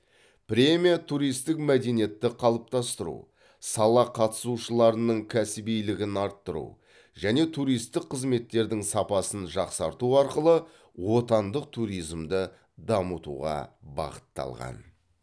премия туристік мәдениетті қалыптастыру сала қатысушыларының кәсібилігін арттыру және туристік қызметтердің сапасын жақсарту арқылы отандық туризмді дамытуға бағытталған